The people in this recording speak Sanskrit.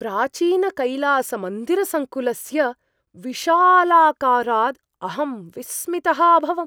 प्राचीनकैलासमन्दिरसङ्कुलस्य विशालाकाराद् अहं विस्मितः अभवम्!